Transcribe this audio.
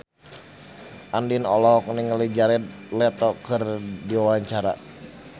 Andien olohok ningali Jared Leto keur diwawancara